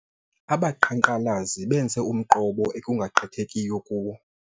Abaqhankqalazi benze umqobo ekungagqithekiyo kuwo.